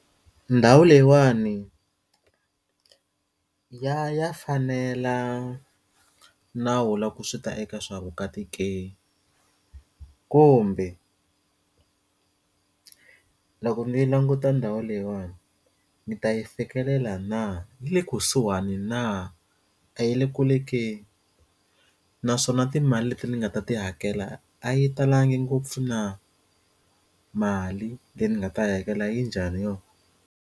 Ndhawu leyiwani ya ya fanela nawu la ku swi ta eka swa vukati ke kumbe loko ndzi yi languta ndhawu leyiwani ndzi ta yi fikelela na le kusuhani na a yi le kule ke naswona timali leti ndzi nga ta ti hakela a yi talangi ngopfu na mali leyi ndzi nga ta yi hakela yi njhani yo.